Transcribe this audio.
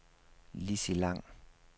Lissi Lang